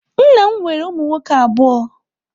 Nna m nwere ụmụ nwoke abụọ.